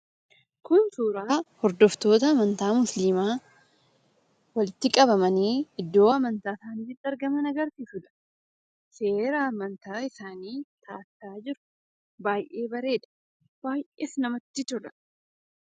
Kun suuraa hordoftoota amantaa musliimaa, walitti qabamanii iddoo amantaa isaaniitti argaman agarsiisudha. Seera amantaa isaanii taatta'aa jiru. Baay'ee bareeda! Baay'ees namatti tola.